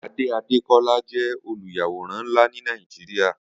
Ade Adekola jẹ̀ ólúyàwórán nlá ni Nàijiriá